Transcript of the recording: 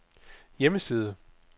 hjemmeside